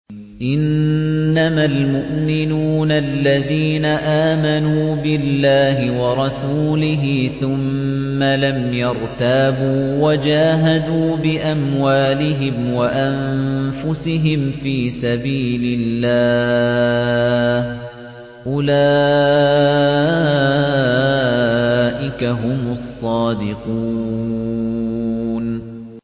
إِنَّمَا الْمُؤْمِنُونَ الَّذِينَ آمَنُوا بِاللَّهِ وَرَسُولِهِ ثُمَّ لَمْ يَرْتَابُوا وَجَاهَدُوا بِأَمْوَالِهِمْ وَأَنفُسِهِمْ فِي سَبِيلِ اللَّهِ ۚ أُولَٰئِكَ هُمُ الصَّادِقُونَ